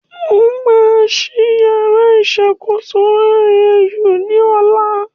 Wọ́n máa ṣí yàrá ìṣàkóso OAU ní ọ̀la